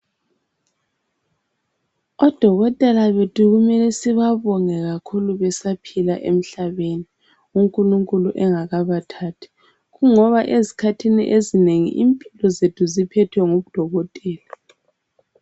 Odokotela bethu kumele sibabonge kakhulu besaphila emhlabeni, unkulunkulu enagakabathathi. Kungoba ezikhathini ezinengi impilo zethu ziphetwe ngodokotela.